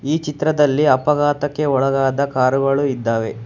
ಈ ಚಿತ್ರದಲ್ಲಿ ಅಪಘಾತಕ್ಕೆ ಒಳಗದ ಕಾರುಗಳು ಇದ್ದಾವೆ.